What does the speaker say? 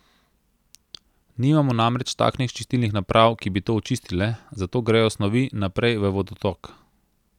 Nimamo namreč takšnih čistilnih naprav, ki bi to očistile, zato grejo snovi naprej v vodotok.